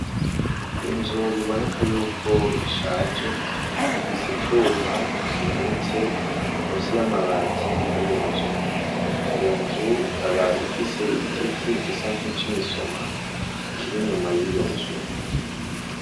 Inzu biboneka yuko ishaje, ifise icuma kimanitse musi y'amabati y'iyo nzu, iyo nzu ikaba ifise igiti gisa nk'icimisoma kiri inyuma y'iyo nzu.